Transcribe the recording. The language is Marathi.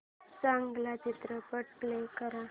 चांगला चित्रपट प्ले कर